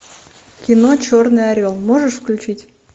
кино черный орел можешь включить